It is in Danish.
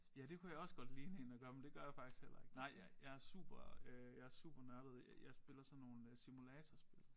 Ja det kunne jeg også godt ligne én der gør men det gør jeg faktisk heller ikke nej jeg super øh jeg supernørdet jeg spiller sådan nogle øh simulatorspil